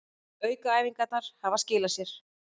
Aukaæfingarnar hafa skilað sér